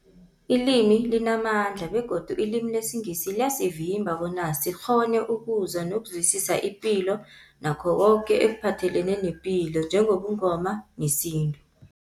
Ilimi limamandla begodu ilimi lesiNgisi liyasivimba bona sikghone ukuzwa nokuzwisisa ipilo nakho koke ekuphathelene nepilo njengobuNgoma nesintu.